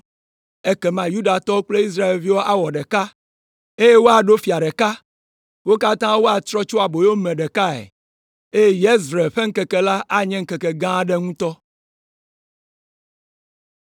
Ekema Yudatɔwo kple Israelviwo awɔ ɖeka, eye woaɖo fia ɖeka; wo katã woatrɔ tso aboyome ɖekae, eye Yezreel ƒe ŋkeke la anye ŋkeke gã aɖe ŋutɔ.”